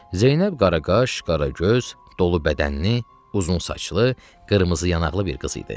Zeynəb qaraqaş, qaragöz, dolu bədənli, uzun saçlı, qırmızı yanaqlı bir qız idi.